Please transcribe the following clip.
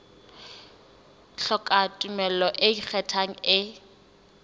hloka tumello e ikgethang e